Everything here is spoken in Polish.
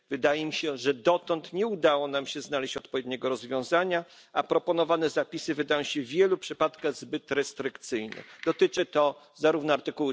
Wydaje mi się że dotąd nie udało nam się znaleźć odpowiedniego rozwiązania, a proponowane zapisy wydają się w wielu przypadkach zbyt restrykcyjne, dotyczy to zarówno art.